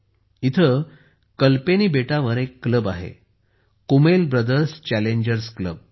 येथे कल्पेनी बेटावर एक क्लब आहे कुमेल ब्रदर्स चॅलेंजर्स क्लब